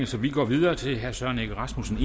så vi går videre til herre søren egge rasmussen